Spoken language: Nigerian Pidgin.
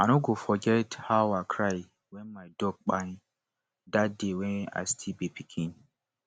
i no go forget how i cry when my dog kpai dat day when i still be pikin